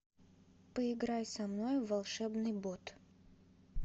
поиграй со мной в волшебный бот